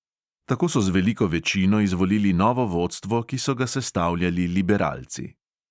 Tako so z veliko večino izvolili novo vodstvo, ki so ga sestavljali liberalci.